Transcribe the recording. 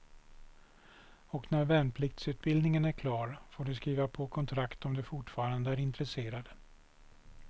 Och när värnpliktsutbildningen är klar får de skriva på kontrakt om de fortfarande är intresserade.